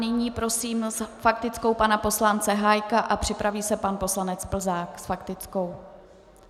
Nyní prosím s faktickou pana poslance Hájka a připraví se pan poslanec Plzák s faktickou.